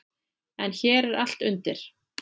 En hér er allt undir.